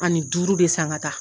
Ani duuru de san ka taa.